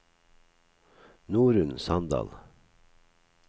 Norunn Sandal